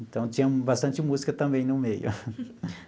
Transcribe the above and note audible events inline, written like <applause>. Então, tinha bastante música também no meio. <laughs>